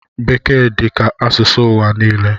Bekee dizi ka asụsụ ụwa niile